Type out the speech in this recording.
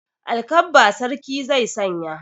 Alkabba sarki zai sanya.